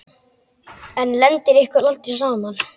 En lendir ykkur aldrei saman?